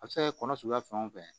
A bɛ se ka kɛ kɔnɔ suguya fɛn o fɛn